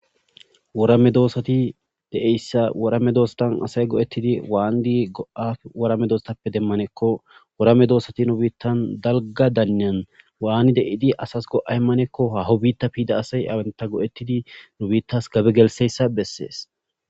wora medoossati deeyssa woramme doostan asay go'ttidi waandi go'a worame doostappe demmanekko worame doosati nu biittan dalga daynyan waani de'di asas go'y manekko ha hobitta piida asay awanta go'tidi nu biittas gabe gelseyssa bessees